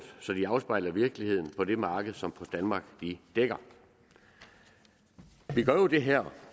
så de afspejler virkeligheden på det marked som post danmark dækker vi gør jo det her